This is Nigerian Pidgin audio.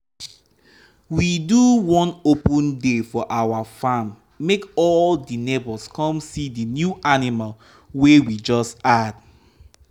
we do one open day for our farm make all di neighbors come see di new animal wey we just add.